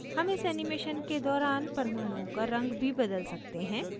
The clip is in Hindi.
हम इस animation के दौरान परमाणुओं का रंग भी बदल सकते हैं